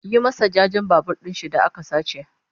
Yi masa jajen Babur ɗinshi da aka sace!